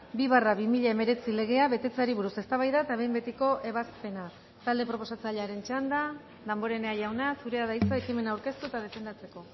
bi barra bi mila hemeretzi legea betetzeari buruz eztabaida eta behin betiko ebazpena talde proposatzailearen txanda damborenea jauna zurea da hitza ekimena aurkeztu eta defendatzeko